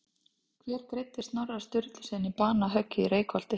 Hver greiddi Snorra Sturlusyni banahöggið í Reykholti?